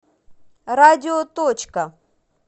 радио точка